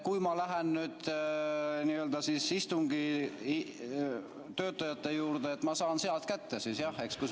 Kui ma lähen nüüd istungi töötajate juurde, siis kas ma saan need sealt kätte, kui soovin?